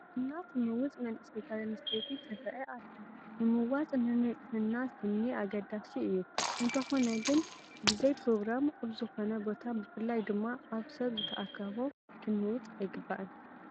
ስና ትምውፅ መንእሰይ ጓል ኣነስተይቲ ትርአ ኣላ፡፡ ምምዋፅ ንንፅህና ስኒ ኣገዳሲ እዩ፡፡ እንተኾነ ግን ብዘይፕሮግራም ኣብ ዝኾነ ቦታ ብፍላይ ድማ ኣብ ሰብ ዝተኣከቦ ክንምውፅ ኣይግባእን፡፡